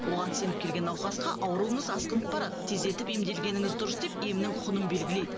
оған сеніп келген науқасқа ауруыңыз асқынып барады тездетіп емделгеніңіз дұрыс деп емнің құнын белгілейді